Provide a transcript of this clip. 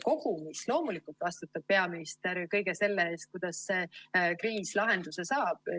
Kogumis loomulikult vastutab peaminister kõige selle eest, kuidas kriis lahenduse saab.